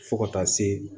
Fo ka taa se